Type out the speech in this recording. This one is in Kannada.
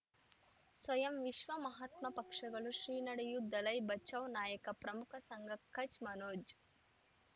ಸ್ವಯಂ ವಿಶ್ವ ಮಹಾತ್ಮ ಪಕ್ಷಗಳು ಶ್ರೀ ನಡೆಯೂ ದಲೈ ಬಚೌ ನಾಯಕ ಪ್ರಮುಖ ಸಂಘ ಕಚ್ ಮನೋಜ್